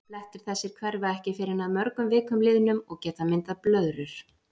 Blettir þessir hverfa ekki fyrr en að mörgum vikum liðnum og geta myndað blöðrur.